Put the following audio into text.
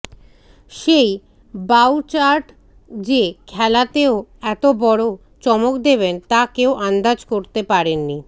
সেই বাউচার্ড যে খেলাতেও এত বড় চমক দেবেন তা কেউ আন্দাজ করতে পারেননি